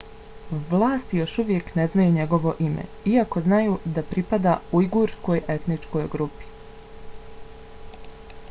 vlasti još uvijek ne znaju njegovo ime iako znaju da pripada ujgurskoj etničkoj grupi